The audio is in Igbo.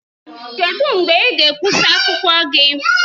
Kedu mgbe ị ga-ekwụsa akwụkwọ gị?